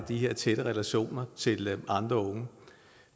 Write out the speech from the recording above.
her tætte relationer til andre unge